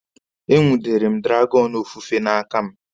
E nwudere m dragọnụ ofufe n'aka m.